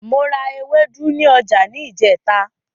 Mo ra ewédú ní ọjà ní ìjẹ́ta.